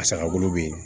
A saga bolo be yen